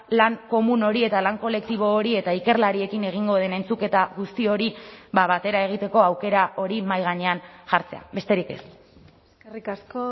lan komun hori eta lan kolektibo hori eta ikerlariekin egingo den entzuketa guzti hori batera egiteko aukera hori mahai gainean jartzea besterik ez eskerrik asko